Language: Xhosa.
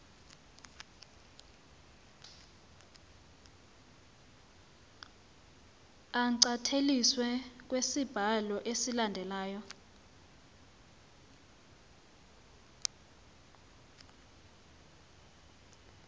ancanyatheliswe kwisibanjalo esilandelyo